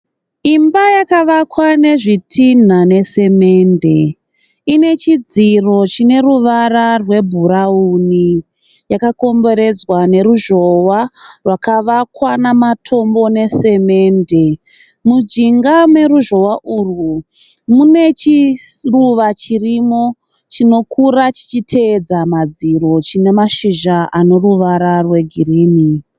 Imba yakavakwa nezvitinha nesemende. Ine chidziro chine ruvara rwebhurawuni. Yakakomberedzwa neruzhowa rwakavakwa namatombo nesemende. Mujinga meruzhowa urwu mune chiruva chirimo chinokura chichiteedza madziro chine mashizha ane ruvara rwegirinhi.